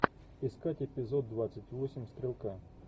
искать эпизод двадцать восемь стрелка